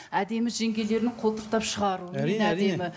әдемі жеңгелерінің қолтықтап шығаруымен